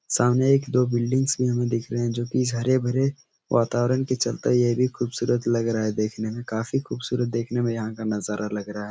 सामने एक दो बिलडिंगस हमे दिख रहे हैं जो कि हरे भरे वातावरण के चलते ये भी खूबसूरत लग रहा है देखने में काफ़ी खूबसूरत देखने में यहाँ का नजारा लग रहा है।